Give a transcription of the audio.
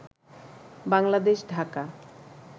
Bangladesh Dhaka